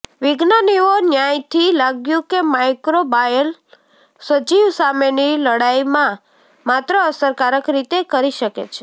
વિજ્ઞાનીઓ ન્યાયથી લાગ્યું કે માઇક્રોબાયલ સજીવ સામેની લડાઈમાં માત્ર અસરકારક રીતે કરી શકે છે